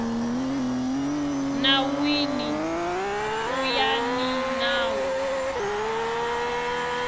nawini ku ya hi nawu